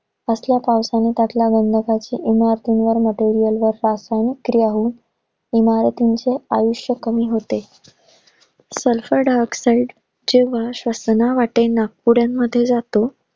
असल्या पावसाने त्यातला गंदकाची इमारतीमध्ये क्रिया होऊन इमारतींचे आयुष्य कमी होते. sulphur dioxide चे श्वासनावाटे नाकपुड्यामध्ये जातो.